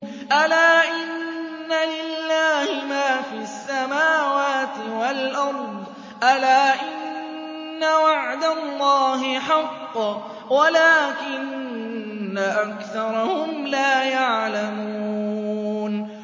أَلَا إِنَّ لِلَّهِ مَا فِي السَّمَاوَاتِ وَالْأَرْضِ ۗ أَلَا إِنَّ وَعْدَ اللَّهِ حَقٌّ وَلَٰكِنَّ أَكْثَرَهُمْ لَا يَعْلَمُونَ